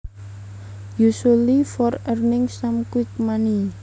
Usually for earning some quick money